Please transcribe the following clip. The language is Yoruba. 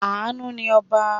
Àánú ni ọba.